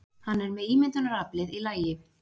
Hann er með ímyndunaraflið í lagi.